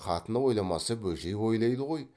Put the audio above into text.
қатыны ойламаса бөжей ойлайды ғой